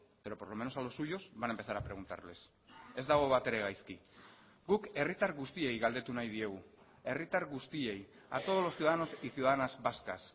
pero por lo menos a los suyos van a empezar a preguntarles ez dago batere gaizki guk herritar guztiei galdetu nahi diegu herritar guztiei a todos los ciudadanos y ciudadanas vascas